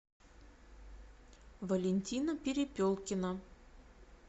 валентина перепелкина